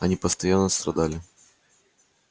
они постоянно страдали